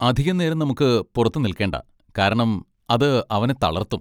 അധികനേരം നമുക്ക് പുറത്ത് നിൽക്കേണ്ട, കാരണം അത് അവനെ തളർത്തും.